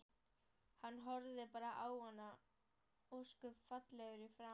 Hann horfði bara á hana, ósköp fallegur í framan.